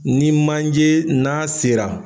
Ni manje n'a sera.